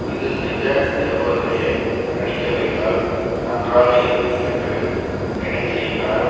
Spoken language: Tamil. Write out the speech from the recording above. இதில் நிஜ நிருபர்களையே நடிக்க வைத்தால் நன்றாக இருக்கும் என்று நினைத்த இயக்குனர்